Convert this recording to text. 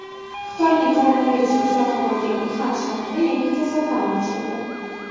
Xitoyning koronavirus o‘chog‘i bo‘lgan Uxan shahrida yangi kasalxona ochildi.